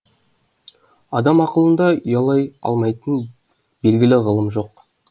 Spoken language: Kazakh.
адам ақылында ұялай алмайтын белгілі ғылым жоқ